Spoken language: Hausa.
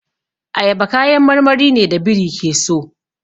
Ayaba kayan marmari ne da biri ke so.